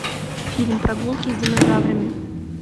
фильм прогулки с динозаврами